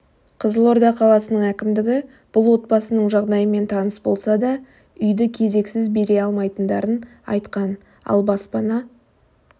қызылорда қаласының әкімдігі бұл отбасының жағдайымен таныс болса да үйді кезексіз бере алмайтындарын айтқан ал баспана